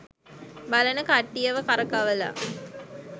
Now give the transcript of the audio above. බලන කට්ටියව කරකවලා